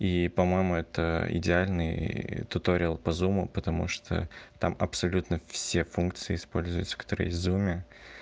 и по-моему это идеальный туториал по зуму потому что там абсолютно все функции используются которые есть в зуме